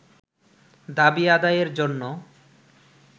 দাবি আদায়ের জন্য